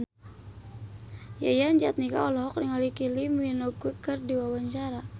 Yayan Jatnika olohok ningali Kylie Minogue keur diwawancara